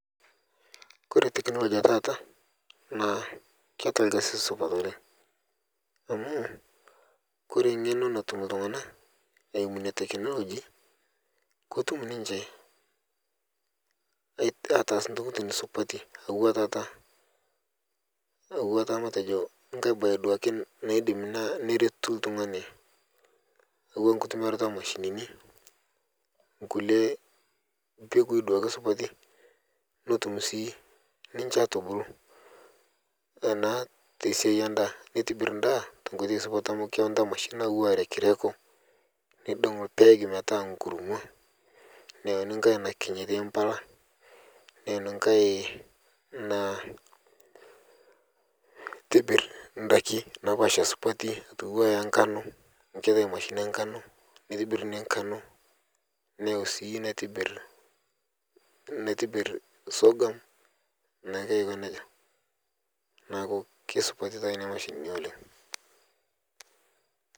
Kore teklojia atata naa keata lkasi sapuk oleng amu kore ng'eno natum ltungana naimu nia tekloji kotum ninche atas ntokitin supati natua tata metejo nkae bae naidim duake neretu ltungani atua nkitumiarato emashinini nkule mbegui duake supati netum sii niche aitubulu naa tesiai enda netibir ndaa tenkotei supat amu keyauni tata mashinini natua rekreko neidong lpaeg metaa nkuruma neyeuni nkae nakiny aitaai mpala neyeuni nkae naa naitibirr ndaki napaasha supati atua enkano ketai mashinini enkano neitibir nia nkano neitibir sogam naake ako neja naaku keisupat taa nenia mashinini oleng.